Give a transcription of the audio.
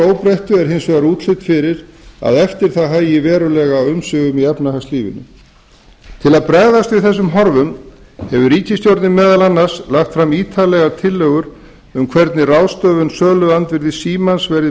óbreyttu er hins vegar útlit fyrir að eftir það hægi verulega á umsvifum í efnahagslífinu til þess að bregðast við þessum horfum hefur ríkisstjórnin meðal annars lagt fram ítarlegar tillögur um það hvernig ráðstöfun söluandvirðis símans